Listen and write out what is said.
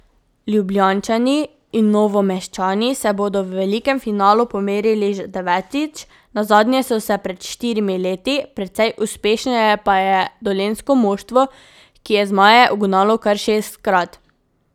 Ljubljančani in Novomeščani se bodo v velikem finalu pomerili že devetič, nazadnje so se pred štirimi leti, precej uspešnejše pa je dolenjsko moštvo, ki je zmaje ugnalo kar šestkrat.